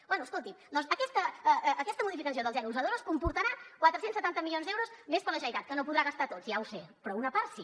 bé escolti’m doncs aquesta modificació del zero al zero coma dos comportarà quatre cents i setanta milions d’euros més per a la generalitat que no els podrà gastar tots ja ho sé però una part sí